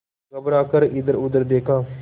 घबरा कर इधरउधर देखा